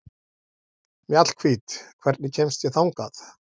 Mjallhvít, hvernig kemst ég þangað?